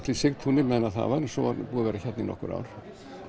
í Sigtúni meðan það var en svo er búið að vera hérna í nokkur ár